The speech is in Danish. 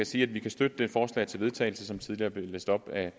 sige at vi kan støtte det forslag til vedtagelse som tidligere blev læst op af